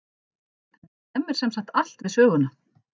Þetta stemmir sem sagt allt við söguna.